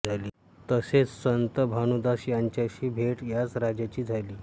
तसेच संत भानुदास यांच्याशी भेट याच राजाची झाली